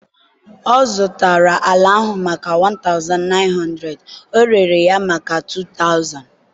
ọ zụtara ala ahụ maka 1900, o rere ya maka 2000)